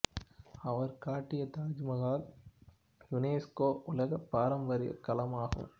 அவர் கட்டிய தாஜ்மஹால் யுனெஸ்கோ உலகப் பாரம்பரியக் களம் ஆகும்